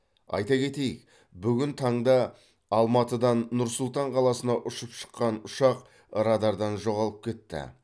айта кетейік бүгін таңда алматыдан нұр сұлтан қаласына ұшып шыққан ұшақ радардан жоғалып кетті